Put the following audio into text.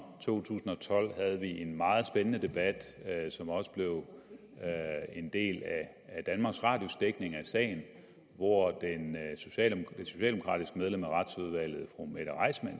to tusind og tolv havde en meget spændende debat som også blev en del af danmarks radios dækning af sagen hvor det socialdemokratiske medlem af retsudvalget fru mette reissmann